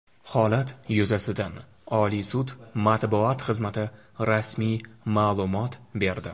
Holat yuzasidan Oliy sud matbuot xizmati rasmiy ma’lumot berdi.